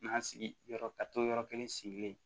N'an sigiyɔrɔ ka to yɔrɔ kelen sigilen